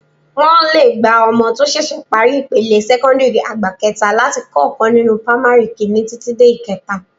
Wọ́n lè gba ọmọ tó ṣẹ̀ṣẹ̀ parí ipele sẹ́kọ́ńdìrì àgbà kẹta láti kọ́ ọkàn nínú pamari kìíní títí dé ìkẹta